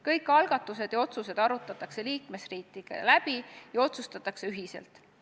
Kõik algatused ja otsused arutatakse liikmesriikidega läbi ja otsustatakse ühiselt.